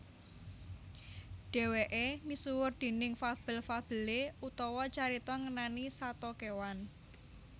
Dhèwèké misuwur déning fabel fabelé utawa carita ngenani sato kéwan